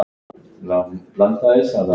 Það er fýla af honum.